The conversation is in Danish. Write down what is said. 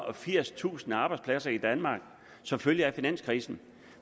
og firstusind arbejdspladser i danmark som følge af finanskrisen